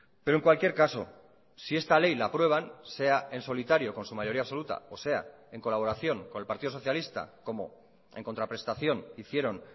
pero en cualquier caso si esta ley la aprueban sea en solitario con su mayoría absoluta o sea en colaboración con el partido socialista como en contraprestación hicieron